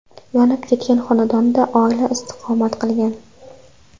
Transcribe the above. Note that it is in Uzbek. Yonib ketgan xonadonda oila istiqomat qilgan.